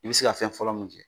I be se ka fɛn fɔlɔ min kɛ